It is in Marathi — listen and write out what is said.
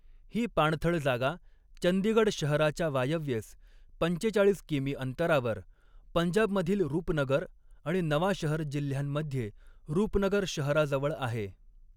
ही पाणथळ जागा, चंदीगड शहराच्या वायव्येस पंचेचाळीस किमी अंतरावर, पंजाबमधील रुपनगर आणि नवांशहर जिल्ह्यांमध्ये, रूपनगर शहराजवळ आहे.